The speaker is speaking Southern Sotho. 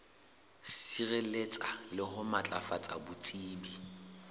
sireletsa le ho matlafatsa botsebi